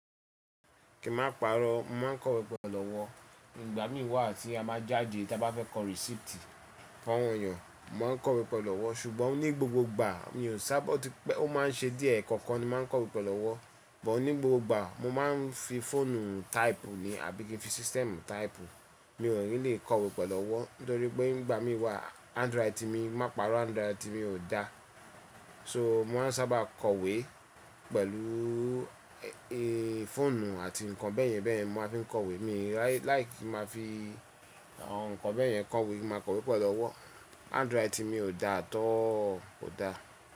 Kí ma pàrọ́, mo màá kọ̀wé pẹ̀lú ọ́wọ́. Ìgbà mí wà tí a máa jáde tí a bá fẹ́ kọ̀ receipt fún awon eeyàn màá kọ̀wé pẹ̀lú ọ́wo. Ṣùgbọ́n ní gbogbo ìgbà mi ò sábà o tí pé ó máa ń ṣe díẹ̀, ẹ̀ẹ̀kọ̀kan ni màá ń kọ̀wé pẹ̀lú ọ́. But ní gbogbo ìgbà mo máa ń fi fóònù type ní àbí kí n fi system type, mi ò really kọ̀wé pẹ̀lú owo nítorí pé ìgbà mí wà hanf writing mi, má pàrọ́ hand writing mi ò da. So màá sábà kọ̀wé pẹ̀lú fóònù àti ǹkan bẹ́ẹ̀yẹn bẹ́ẹ̀yẹn mo máa fi ń kọ̀wé. Mi like ki máa fi awon ǹkan bẹ́ẹ̀yẹn kọ̀wé ki má kọ̀wé pẹ̀lú owo Hand writing mi ò da at all kò da.